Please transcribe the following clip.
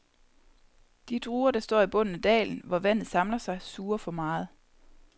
De druer, der står i bunden af dalen, hvor vandet samler sig, suger for meget.